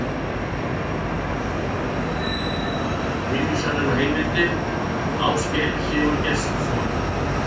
Tilvísanir og heimildir: Ásgeir Sigurgestsson.